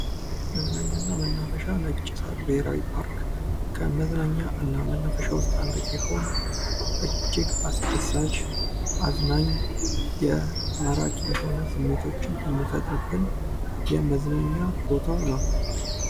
መዝናኛና መናፈሻ ነጭ ሳር ብሔራዊ ፓርክ ከመዝናኛና መናፈሻ ውስጥ አንዱ ሲሆን እጅግ አስደሳች አዝናኝ የማራኪ የሆነ ስሜቶችን የሚፈጥርብን የመዝናኛ ቦታ ነው።